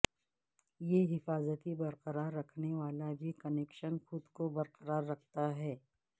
یہ حفاظتی برقرار رکھنے والا بھی کنکشن خود کو برقرار رکھتا ہے